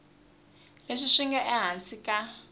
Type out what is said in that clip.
leswi swi nga ehansi ka